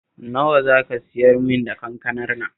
Nawa za ka siyarmin da kankanar nan?